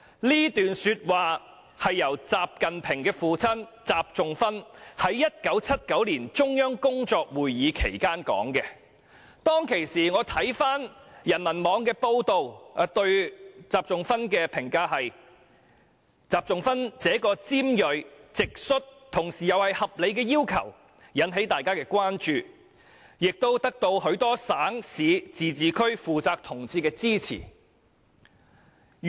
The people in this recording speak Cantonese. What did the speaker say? "這段說話是習近平的父親習仲勛在1979年的中央工作會議期間發表的，我看回當時人民網的報道，對習仲勛的評價是"習仲勛這個尖銳、直率同時又是合理的要求，引起大家的關注，也得到許多省、市、自治區負責同志的支持"。